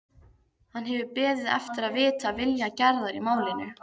Hann hefur beðið eftir að vita vilja Gerðar í málinu.